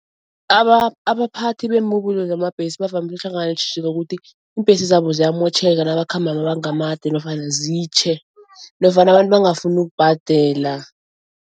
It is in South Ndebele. Abaphathi beembubulo zamabhesi bavamile ukuhlangana neentjhijilo ukuthi iimbhesi zabo ziyamotjheka nabakhamba amabanga amade nofana zitjhe nofana abantu bangafuni ukubhadela.